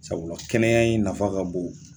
Sabula kɛnɛya in nafa ka bon.